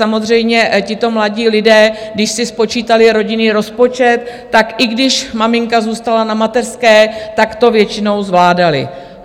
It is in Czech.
Samozřejmě tito mladí lidé, když si spočítali rodinný rozpočet, tak i když maminka zůstala na mateřské, tak to většinou zvládali.